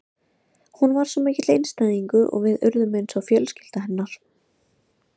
Hún var svo mikill einstæðingur og við urðum eins og fjölskylda hennar.